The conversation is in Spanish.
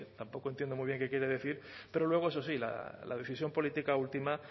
tampoco entiendo muy bien qué quiere decir pero luego eso sí la decisión política última